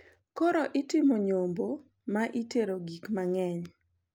Koro itimo nyombo ma itere gik mang`eny.